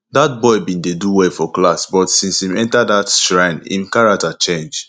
dat boy bin dey do well for class but since im enter that shrine im character change